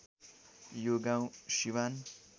यो गाउँ सिवान